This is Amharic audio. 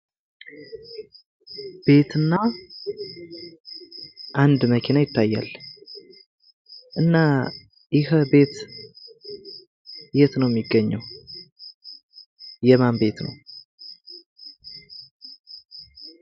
ቤትና አንደ መኪና ይታያል። እና ይህ ቤት የት ነው ሚገኘው? የማን ቤት ነው?